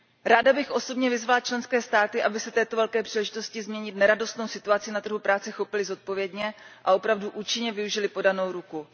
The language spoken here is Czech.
Ráda bych osobně vyzvala členské státy, aby se této velké příležitosti změnit neradostnou situaci na trhu práce chopily zodpovědně a opravdu účinně využily podanou ruku.